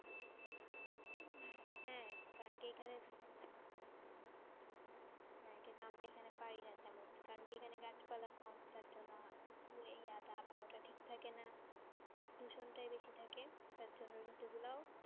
হ্যাঁ কারণ কি এখানে হ্যাঁ কিন্তু আমরা এখানে পাই না তেমন কারণ কি এখানে গাছপালা কম তার জন্য আবহাওয়াটা ঠিক থাকে না দূষণটাই বেশি থাকে যার জন্য ঋতুগুলা ও ঠিক,